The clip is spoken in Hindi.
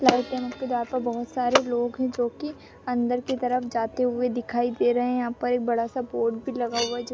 यहाँ पे बहत सारे लोग है जो की अंदर के तरफ जाते हुए दिखाई दे रहे है यहाँ पे एक बड़ा सा बोर्ड भी लगा हुआ है --